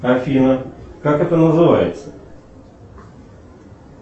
афина как это называется